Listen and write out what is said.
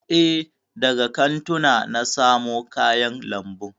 E, daga kantuna na samo kayan lambun.